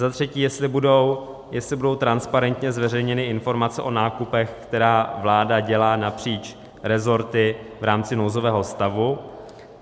Za třetí, jestli budou transparentně zveřejněny informace o nákupech, které vláda dělá napříč resorty v rámci nouzového stavu.